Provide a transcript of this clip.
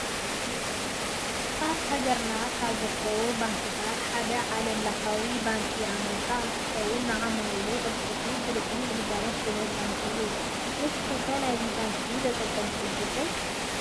አብ ሃገርና ካብ ዝርከቡ ባንክታት ሐደ ዓለም ለኳዊ ባንኪ አንበሳ እንትኮን ንዓማዊሉ ቁሉጥፉን ስሉጡን ግልጋሎት ዝህብ ባንኪ እዩ ።ንስኩም ከ ናይዚ ባንኪ ተጠቀምቲ ዲኩም?